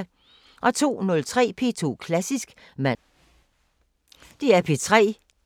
02:03: P2 Klassisk (man-tor)